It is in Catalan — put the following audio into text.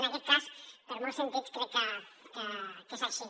en aquest cas per molts sentits crec que és així